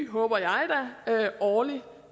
håber jeg da årlig